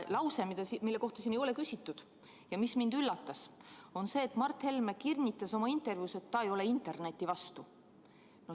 Lause, mille kohta siin ei ole küsitud ja mis mind üllatas, on aga see, et Mart Helme kinnitas oma intervjuus, et ta ei ole interneti vastu.